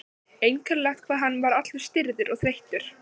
Einkennilegt hvað hann var allur stirður og þreyttur.